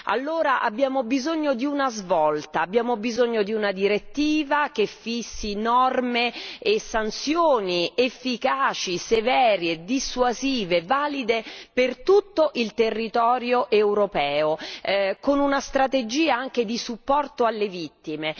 Allora abbiamo bisogno di una svolta, abbiamo bisogno di una direttiva che fissi norme e sanzioni efficaci, severe e dissuasive, valide per tutto il territorio europeo, con una strategia anche di supporto alle vittime.